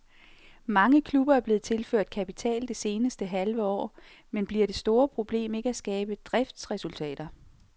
Mange klubber er blevet tilført kapital det seneste halve år, men bliver det store problem ikke at skabe driftsresultater?